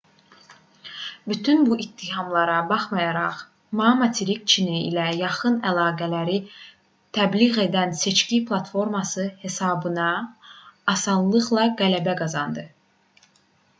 bütün bu ittihamlara baxmayaraq ma materik çini ilə yaxın əlaqələri təbliğ edən seçki platforması hesabına asanlıqla qələbə qazandı